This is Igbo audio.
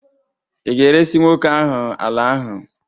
Ị ga-eresị nwoke ahụ ala ahụ?